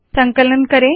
संकलन करें